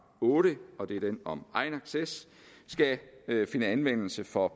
otte og det er den om egenacces skal finde anvendelse for